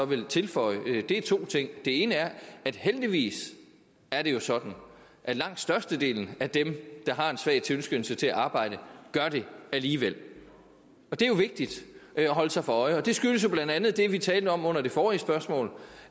vil tilføje er to ting det ene er at heldigvis er det jo sådan at langt størstedelen af dem der har en svag tilskyndelse til at arbejde gør det alligevel og det er jo vigtigt at holde sig for øje det skyldes jo blandt andet det vi talte om under det forrige spørgsmål